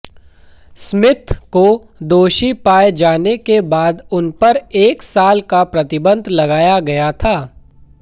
Smith को दोषी पाए जाने के बाद उनपर एक साल का प्रतिबंध लगाया गया था